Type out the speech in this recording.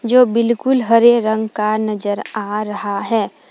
जो बिल्कुल हरे रंग का नजर आ रहा है।